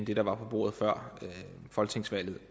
der var på bordet før folketingsvalget